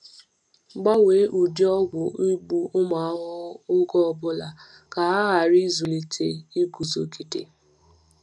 Gbanwee ụdị ọgwụ igbu ụmụ ahụhụ oge ọ bụla ka ha ghara ịzụlite iguzogide.